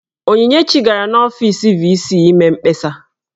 Onyinyechi gara n'ọfiisi VC ime mkpesa.